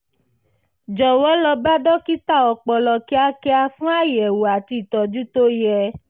jọ̀wọ́ lọ bá dókítà ọpọlọ kíákíá fún àyẹ̀wò àti ìtọ́jú tó yẹ